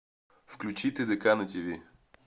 включи тдк на тв